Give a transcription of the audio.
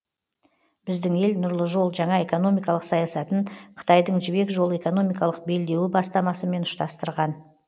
біздің ел нұрлы жол жаңа экономикалық саясатын қытайдың жібек жолы экономикалық белдеуі бастамасымен ұштастырған